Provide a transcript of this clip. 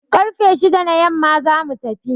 Karfe shida na yamma za mu tafi.